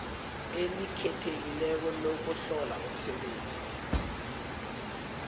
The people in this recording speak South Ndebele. elikhethekileko lokuhlola umsebenzi